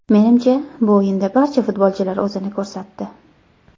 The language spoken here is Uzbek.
Menimcha, bu o‘yinda barcha futbolchilar o‘zini ko‘rsatdi.